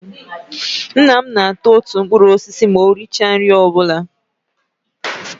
Nna m na ata otu mkpụrụ osisi ma o richa nri ọbụla